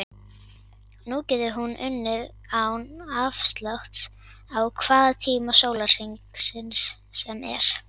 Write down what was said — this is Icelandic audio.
Nú getur hún unnið án afláts á hvaða tíma sólarhrings sem er.